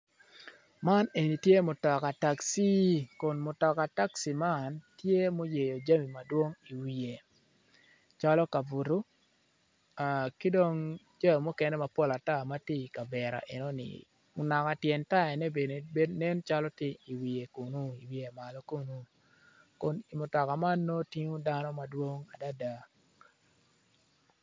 Man eni tye mutoka takci kun mutoka takci man tye ma oyeyo jami madwong iwiye calo kabuto ki dong jami mukene mapol ata ma tye iyi kavera enoni naka tyen tayane bene nen calo tye iwiye kunu kun i mutoka man nongo tingo dano madwong adada.